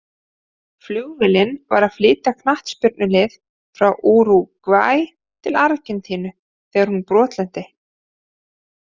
Flugvélin var að flytja knattspyrnulið frá Úrúgvæ til Argentínu þegar hún brotlenti.